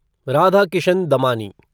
Radhakishan Damani